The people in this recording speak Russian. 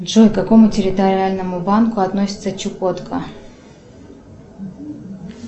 джой к какому территориальному банку относится чукотка